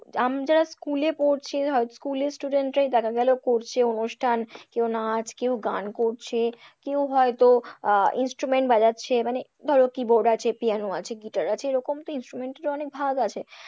আমরা school এ পড়ছি, ধরো school student রাই দেখাগেল করছে অনুষ্ঠান, কেউ নাচ কেউ গান করছে, কেউ হয়তো আহ instrument বাজাচ্ছে, মানে ধরো keyboard আছে, পিয়ানো আছে, গিটার আছে এরকম তো instrument এরো অনেক ভাগ আছে।